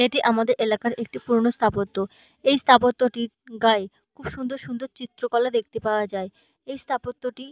এটি আমাদের এলাকার একটি পুরোনো স্থাপত্য এই স্থাপত্যটির গায়ে খুব সুন্দর সুন্দর চিত্রকলা দেখতে পাওয়া যায়। এই স্থাপত্য টি --